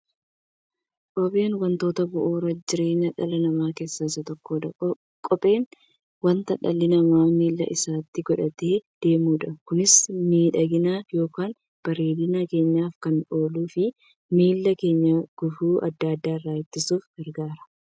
Kopheen wantoota bu'uura jireenya dhala namaa keessaa isa tokkodha. Kopheen wanta dhalli namaa miilla isaatti godhatee deemudha. Kunis miidhagani yookiin bareedina keenyaf kan ooluufi miilla keenya gufuu adda addaa irraa ittisuuf gargaara.